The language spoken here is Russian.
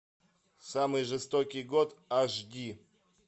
самый жестокий год аш ди